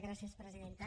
gràcies presidenta